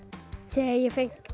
þegar ég fékk